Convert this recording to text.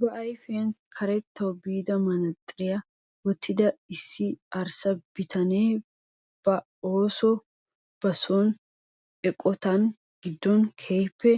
Ba ayfiyaan karettawu biida manatsiriyaa wottida issi arssa bitanee ba soninne ba oottiyoo eqotaa giddon keehippe